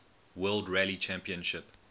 world rally championship